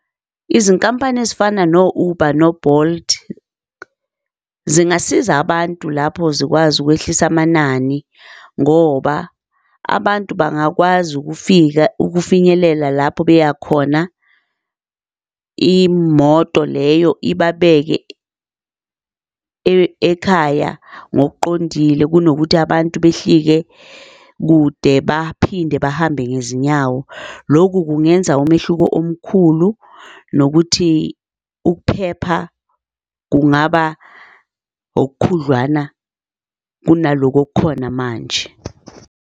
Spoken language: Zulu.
Izinkampani ezifana no-Uber no-Bolt zingasiza abantu lapho zikwazi ukwehlisa amanani ngoba abantu bangakwazi ukufika ukufinyelela lapho beyakhona, imoto leyo ibabeke ekhaya ngokuqondile kunokuthi abantu behlike kude baphinde bahambe ngezinyawo. Loku kungenza umehluko omkhulu nokuthi ukuphepha kungaba okhudlwana kunaloku okukhona manje.